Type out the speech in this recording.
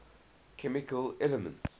chemical elements